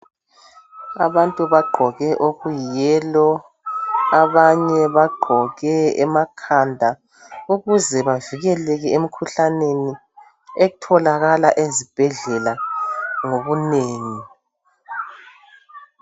abantu bagqoke okuyiyi yellow abanye bagqoke emakhanda ukuze bavikeleke emkhuhlaneni etholakala ezibhedlela ngobunengi